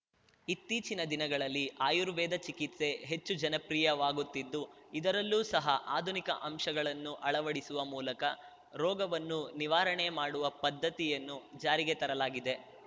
ಇತ್ತೀಚಿನ ದಿನಗಳಲ್ಲಿ ಆರ್ಯುವೇದ ಚಿಕಿತ್ಸೆ ಹೆಚ್ಚು ಜನಪ್ರಿಯವಾಗುತ್ತಿದ್ದು ಇದರಲ್ಲೂ ಸಹ ಆಧುನಿಕ ಅಂಶಗಳನ್ನು ಅಳವಡಿಸುವ ಮೂಲಕ ರೋಗವನ್ನು ನಿವಾರಣೆ ಮಾಡುವ ಪದ್ದತಿಯನ್ನು ಜಾರಿಗೆ ತರಲಾಗಿದೆ